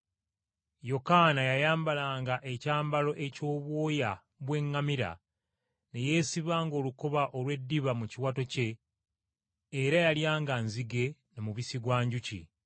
Yokaana yayambalanga ekyambalo eky’obwoya bw’eŋŋamira, ne yeesibanga olukoba olw’eddiba mu kiwato kye, era yalyanga nzige na mubisi gwa njuki.